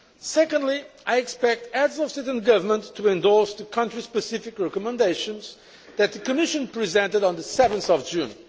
Secondly, I expect the Heads of State and Government to endorse the country specific recommendations that the Commission presented on 7 June.